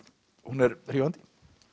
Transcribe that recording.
hún er hrífandi